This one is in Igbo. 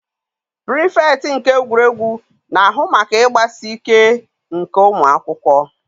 Pirifektị nke egwuregwu na-ahụ maka ịgbasi ike nke ụmụ akwụkwọ.